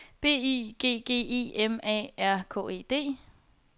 B Y G G E M A R K E D